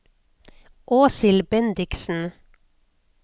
Åshild Bendiksen